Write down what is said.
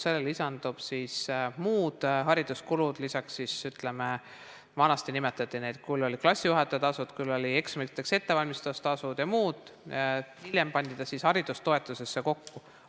Sellele lisanduvad muud hariduskulud, lisaks see, mida vanasti nimetati küll klassijuhatajatasudeks, küll eksamiteks ettevalmistamise tasudeks ja muuks, hiljem pandi see haridustoetusesse kokku.